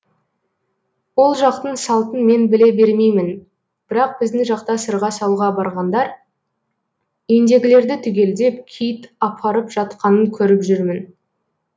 ол жақтың салтын мен біле бермеймін бірақ біздің жақта сырға салуға барғандар үйіндегілерді түгелдеп киіт апарып жатқанын көріп жүрмін